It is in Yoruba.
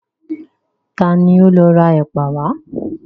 Ta ni ó lọ ra ẹ̀pà wá?